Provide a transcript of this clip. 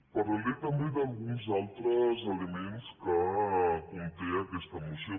parlaré també d’alguns altres elements que conté aquesta moció